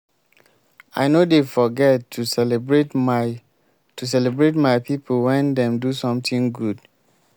i no dey forget to celebrate my to celebrate my pipo wen dem do sometin good.